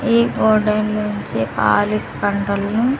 ఈ హోటల్ నుంచి పాలిష్ బండల్ను--